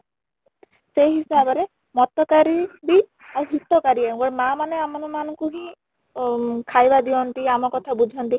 ସେଇ ହିସାବ ରେ ମତକାରି ବି ଆଉ ହିତକାରି ମା ମାନେ ଆମ ମାନଙ୍କୁ ହିଁ ଖାଇବା ଦିଅନ୍ତି ଆମ କଥା ବୁଝନ୍ତି